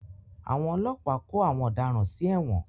Àwọn ọlọ́pàá kó àwọn ọ̀daràn sí ẹ̀wọ̀n.